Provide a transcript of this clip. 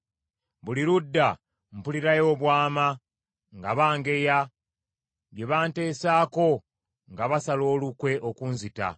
Buli ludda mpulirayo obwama nga bangeya; bye banteesaako nga basala olukwe okunzita.